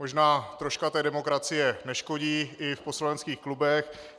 Možná troška té demokracie neškodí i v poslaneckých klubech.